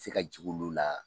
se ka jigi ulu la